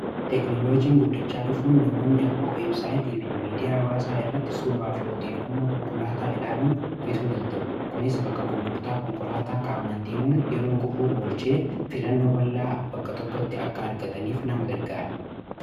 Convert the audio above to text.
teeknolojiin guddachaa dhufuun namoonni ammao websaayitii fi miidiyaa baasaa irratti suuraa fi odeeffannoo konkolaataa ilaaloon bituu danta'u kunis bakka gurgurtaa konkolaataa kaamaan deemuun yeroo gubbuu olchee filannoo ballaa bakka tokkotti akka argataniif nama gargaare